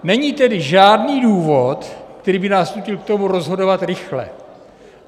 Není tedy žádný důvod, který by nás nutil k tomu rozhodovat rychle.